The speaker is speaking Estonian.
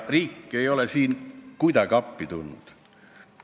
Riik ei ole siin kuidagi appi tulnud.